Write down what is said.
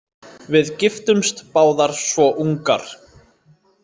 Við giftumst báðar svo ungar.